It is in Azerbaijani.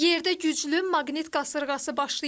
Yerdə güclü maqnit qasırğası başlayıb.